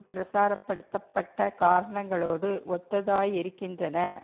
பிரச்சாரப்படுத்தப்பட்ட காரணங்களோடு ஒத்ததாயிருக்கின்றன